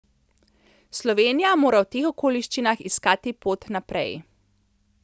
Slovenija mora v teh okoliščinah iskati pot naprej.